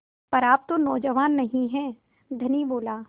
पर आप तो नौजवान नहीं हैं धनी बोला